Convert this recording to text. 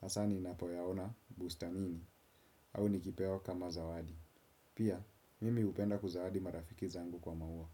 Hasaa ninapoyaona bustamini au nikipewa kama zawadi. Pia, mimi hupenda kuzawadi marafiki zangu kwa maua.